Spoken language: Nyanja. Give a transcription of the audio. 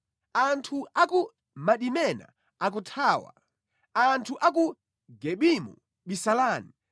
Anthu a ku Madimena akuthawa; anthu a ku Gebimu bisalani.